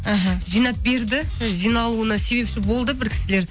аха жинап берді жиналуына себепші болды бір кісілер